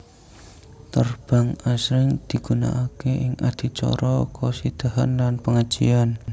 Terbang asring digunakake ing adicara khosidahan lan pengajian